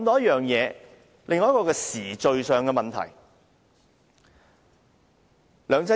現在我想談談時序上的問題。